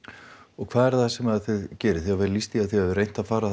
og hvað er það sem þið gerið þið hafið lýst því að þið hafið reynt að fara